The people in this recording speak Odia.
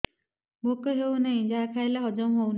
ଭୋକ ହେଉନାହିଁ ଯାହା ଖାଇଲେ ହଜମ ହଉନି